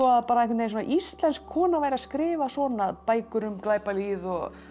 bara að íslensk kona væri að skrifa svona bækur um glæpalýð og